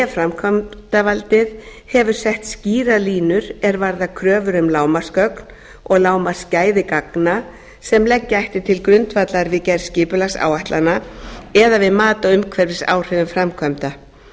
framkvæmdavaldið hefur sett skýrar línur er varðar kröfur um lágmarksgögn og lágmarksgæði gagna sem leggja ætti til grundvallar við gerð skipulagsáætlana eða við mat á umhverfisáhrifum framkvæmda